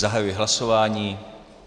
Zahajuji hlasování.